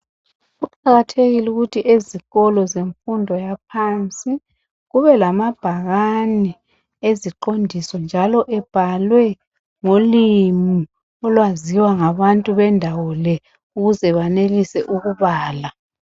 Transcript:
Kuqakathekile ukuthi ezikolo zemfundo yaphansi kube lamabhakani eziqondiso njalo ebhalwe ngolimi olwaziwa ngabantu bendawo le ukuze banelise ukubala.